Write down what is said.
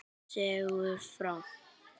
Segðu frá.